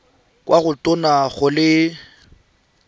kwa go tona go le